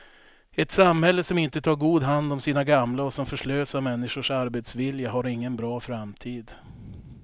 Ett samhälle som inte tar god hand om sina gamla och som förslösar människors arbetsvilja har ingen bra framtid.